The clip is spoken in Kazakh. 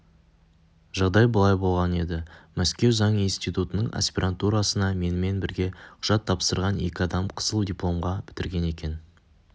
жағдай былай болған еді мәскеу заң институтының аспирантурасына менімен бірге құжат тапсырған екі адам қызыл дипломға бітірген екен